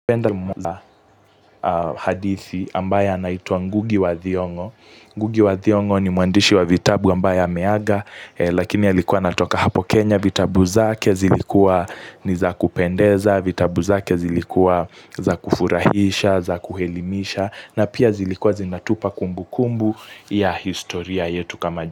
Penda mwanahadithi ambaye anaitwa Ngugi wa Thiongo. Ngugi wa Thiongo ni mwandishi wa vitabu ambaye ameaga Lakini alikuwa anatoka hapo Kenya vitabu zake zilikuwa ni za kupendeza vitabu zake zilikuwa za kufurahisha, za kuelimisha na pia zilikuwa zinatupa kumbu kumbu ya historia yetu kama jamii.